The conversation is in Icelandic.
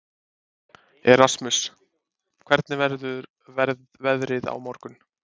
Erasmus, hvernig verður veðrið á morgun?